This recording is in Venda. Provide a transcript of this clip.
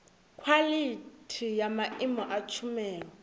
khwalithi ya maimo a tshumelo